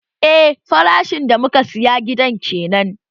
Eh farashin da muka saya gidan kenan